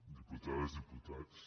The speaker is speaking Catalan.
diputades diputats